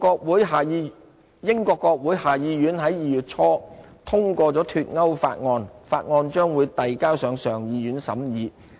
英國國會下議院在2月初通過"脫歐"法案，法案將遞交上議院審議。